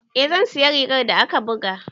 Eh zan siya rigar da aka buga.